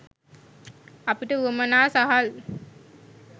අපිට වුවමනා සහල්